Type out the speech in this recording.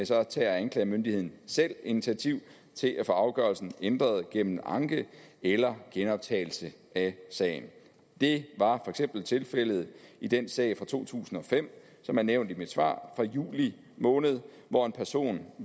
så tager anklagemyndigheden selv initiativ til at få afgørelsen ændret gennem anke eller genoptagelse af sagen det var eksempel tilfældet i den sag fra to tusind og fem som er nævnt i mit svar fra juli måned hvor en person